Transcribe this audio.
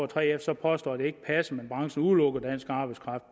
3f så påstår at det ikke passer men at branchen bevidst udelukker dansk arbejdskraft